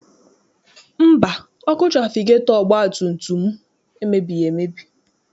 Mba, ọkụ trafigetọ ọgbatumtum m emebighị emebi.